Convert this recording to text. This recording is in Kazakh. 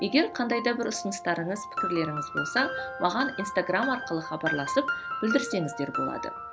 егер қандай да бір ұсыныстарыңыз пікірлеріңіз болса маған инстаграмм арқылы хабарласып білдірсеңіздер болады